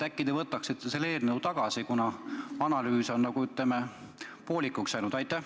Äkki te võtaksite selle eelnõu tagasi, kuna analüüs on, ütleme, poolikuks jäänud?